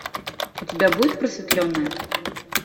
у тебя будет просветленная